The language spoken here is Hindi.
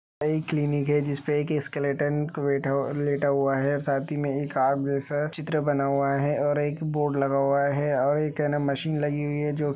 यह क्लिनिक है जिस पर एक स्केलिटन लेता लेता हुआ है साथी में एक जैसा चित्र बना हुआ है और एक बोर्ड लगा हुआ है और एक है ना मशीन लगी हुई है जो --